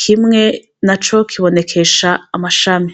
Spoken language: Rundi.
kimwe naco kibonekesha amashami.